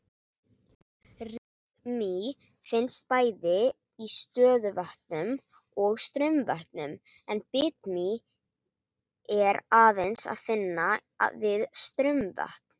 Rykmý finnst bæði í stöðuvötnum og straumvötnum en bitmý er aðeins að finna við straumvötn.